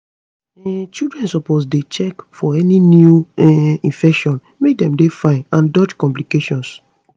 um children supposedey check for any new um infection make dem dey fine and dodge complications